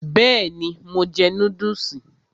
Bẹ́ẹ̀ni, mo jẹ núdùsì